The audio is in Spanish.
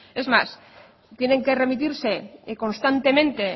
es más tienen que remitirse constantemente